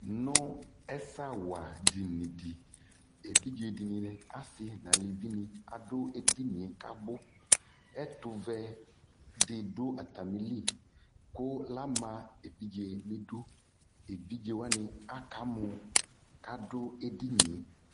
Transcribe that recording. Nʋ ɛsɛawadini dɩ, evidze dɩnɩ, asɩ nʋ alevinɩ adʋ edini yɛ kʋ abʋ Ɛtʋvɛ dɩ dʋ atamɩli kʋ ama evidze nʋ idu Evidze wanɩ akamɔ kʋ adʋ edini yɛ